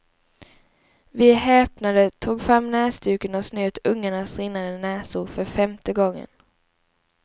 Vi häpnade, tog fram näsduken och snöt ungarnas rinnande näsor för femte gången.